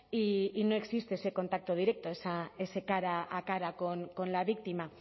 y no existe ese contacto directo ese cara a cara con la víctima